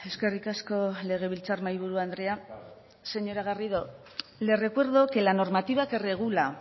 eskerrik asko legebiltzar mahaiburu andrea señora garrido le recuerdo que la normativa que regula